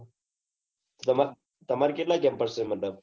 તમાર કેટલા campus છે